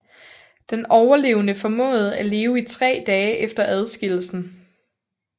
Den overlevende formåede at leve i tre dage efter adskillelsen